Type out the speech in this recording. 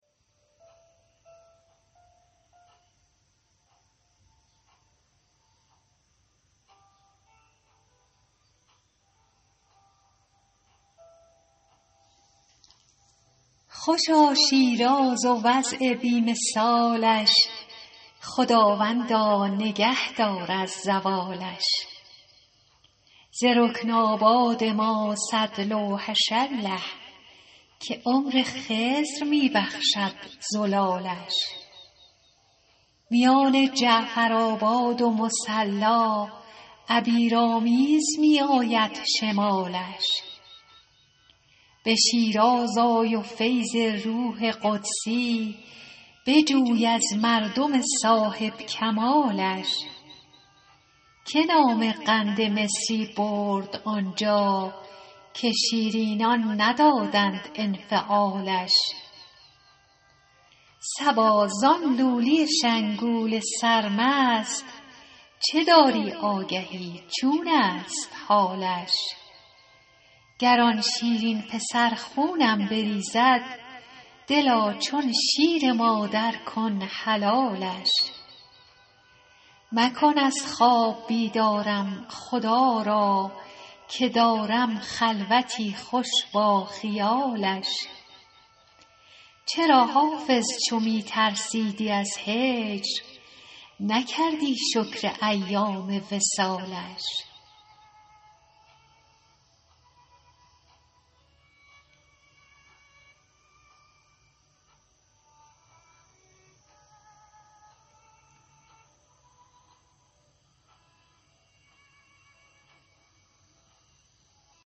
خوشا شیراز و وضع بی مثالش خداوندا نگه دار از زوالش ز رکن آباد ما صد لوحش الله که عمر خضر می بخشد زلالش میان جعفرآباد و مصلا عبیرآمیز می آید شمالش به شیراز آی و فیض روح قدسی بجوی از مردم صاحب کمالش که نام قند مصری برد آنجا که شیرینان ندادند انفعالش صبا زان لولی شنگول سرمست چه داری آگهی چون است حالش گر آن شیرین پسر خونم بریزد دلا چون شیر مادر کن حلالش مکن از خواب بیدارم خدا را که دارم خلوتی خوش با خیالش چرا حافظ چو می ترسیدی از هجر نکردی شکر ایام وصالش